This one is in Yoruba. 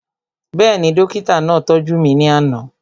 Bẹ́ẹ̀ni, dókítà náà tọ́jú mi ní àná